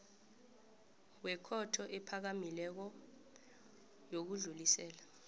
wekhotho ephakamileko yokudlulisela